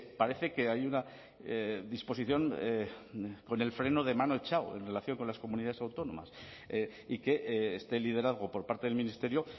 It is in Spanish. parece que hay una disposición con el freno de mano echado en relación con las comunidades autónomas y que este liderazgo por parte del ministerio